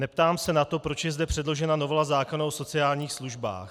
Neptám se na to, proč je zde předložena novela zákona o sociálních službách.